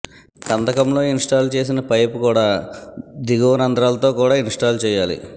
కందకంలో install చేసిన pipe కూడా దిగువ రంధ్రాలతో కూడా ఇన్స్టాల్ చేయాలి